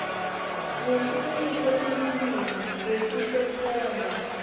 netimiso telulwimi ngekutetsemba